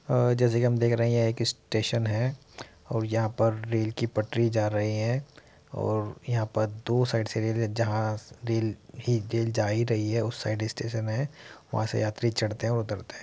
आ जैसा की हम देख रहें हैं यह एक स्टेशन है और यहाँ पर रेल की पटरी जा रही है और यहाँ पर दो साइड से जा ही रही है | उस साइड स्टेशन है वहां से यात्री चड्ते है और उतरते है ।